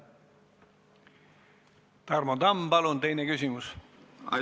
Tarmo Tamm, palun teine küsimus!